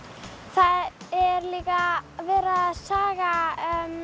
það er líka verið að saga